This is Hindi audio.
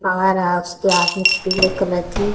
पावर हाउस के ऑफिस पीले कलर की--